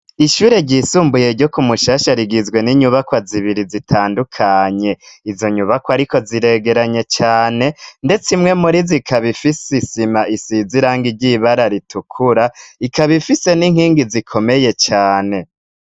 Ishure ryisumbuye ryo ku mushasha rigizwe n'inyubakwa zibiri zitandukanye. Izo nyubakwa ariko ziregeranye cane, ndetse imwe muri zo ikaba ifise isima isize irangi ry'ibara ritukura, ikaba ifise n'inkingi zikomeye cane.